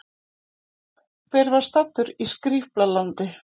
Hver var staddur í Skrýpla-landi?